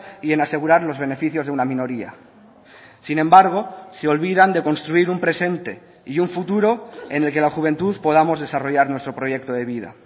y en asegurar los beneficios de una minoría sin embargo se olvidan de construir un presente y un futuro en el que la juventud podamos desarrollar nuestro proyecto de vida